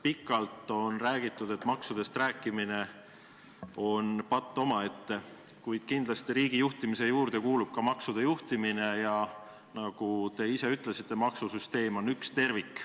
Pikalt on räägitud, et maksudest rääkimine on patt omaette, kuid kindlasti riigijuhtimise juurde kuulub ka maksude juhtimine ja, nagu te ise ütlesite, maksusüsteem on üks tervik.